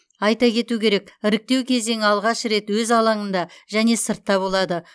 айта кету керек іріктеу кезеңі алғаш рет өз алаңында және сыртта болады